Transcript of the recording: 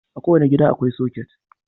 A kowane gida akwai soket.